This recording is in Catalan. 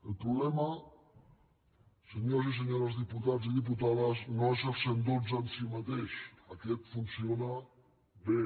el problema senyors i senyores diputats i diputades no és el cent i dotze en si mateix aquest funciona bé